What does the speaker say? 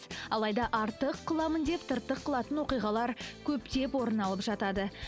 алайда артық қыламын деп тыртық қылатын оқиғалар көптеп орын алып жатады